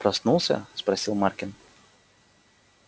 проснулся спросил маркин